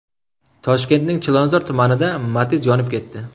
Toshkentning Chilonzor tumanida Matiz yonib ketdi.